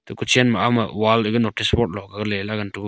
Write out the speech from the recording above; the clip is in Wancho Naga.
kutchenma auma wall laga notice board lokgaley ngan .]